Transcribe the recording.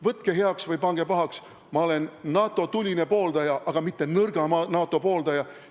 Võtke heaks või pange pahaks, ma olen NATO tuline pooldaja, aga mitte nõrga NATO pooldaja.